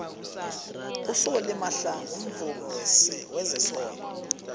usolly mahlangu mvumi wezesondo